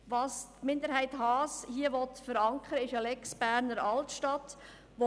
Was die FiKo-Minderheit hier verankern will, ist eine «Lex Berner Altstadt».